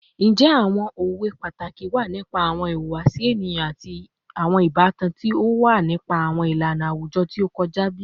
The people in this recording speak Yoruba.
Njẹ awọn owe pataki wa nipa awọn ihuwasi eniyan ati awọn ibatan ti o ni ipa awọn ilana awujọ ti o kọja bi?